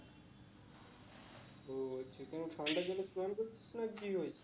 ও আচ্ছা কেনো ঠান্ডা জলে স্নান করছিস না কি হয়েছে তোর?